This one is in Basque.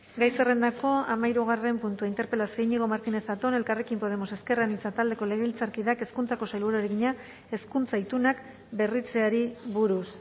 gai zerrendako hamahirugarren puntua interpelazioa iñigo martínez zatón elkarrekin podemos iu taldeko legebiltzarkideak hezkuntzako sailburuari egina hezkuntza itunak berritzeari buruz